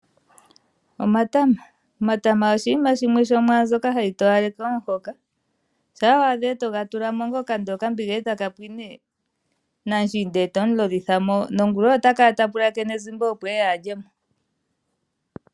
Omatama oshinima shimwe sho mwaa mbyoka hayi towaleke omuhoka, shampa wa adha eto ga tula mo ngoka, ndele okambiga eta ka pwine, namushiinda eto mu lolitha mo nongula ota kala ta pulakene ezimba opo eye a lye mo.